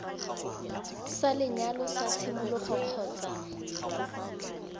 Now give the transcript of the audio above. sa lenyalo sa tshimologo kgotsa